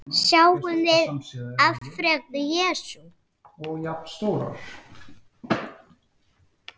Sjáum við afrek Jesú?